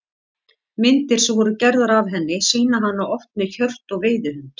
Myndir sem voru gerðar af henni sýna hana oft með hjört og veiðihund.